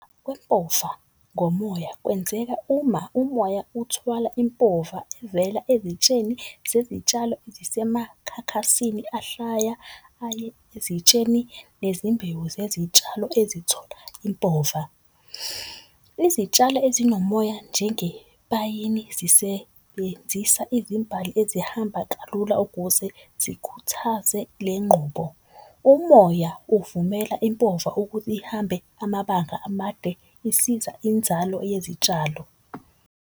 ngomoya kwenzeka uma umoya uthwala impova evela ezitsheni zezitshalo zisemakhakhasini. Ahlaya aye ezitsheni nezimbewu zezitshalo ezithola impova. Izitshalo ezinomoya njengepayini zisebenzisa izimbali ezihamba kalula ukuze zikhuthaze le nqubo. Umoya uvumela impova ihambe amabanga amade. Isiza inzalo yezitshalo.